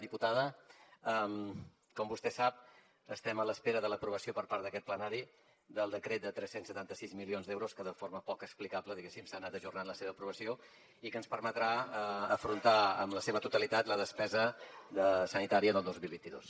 diputada com vostè sap estem a l’espera de l’aprovació per part d’aquest plenari del decret de tres cents i setanta sis milions d’euros que de forma poc explicable diguem ne se n’ha anat ajornant la seva aprovació i que ens permetrà afrontar en la seva totalitat la despesa de sanitària del dos mil vint dos